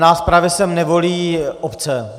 Nás právě sem nevolí obce.